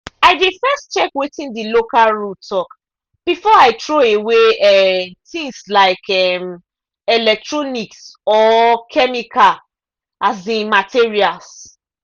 i dey first check wetin the local rule talk before i throw away um things like um electronics or chemical um materials.